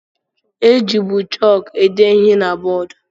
E jibu chọọku ede ihe na bọọdụ.